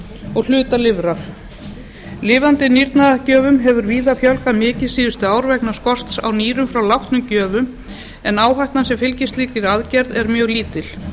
og hluta lifrar lifandi nýrnagjöfum hafi víða fjölgað mikið síðustu ár vegna skorts á nýrum frá látnum gjöfum en áhættan sem fylgir slíkri aðgerð sé mjög lítil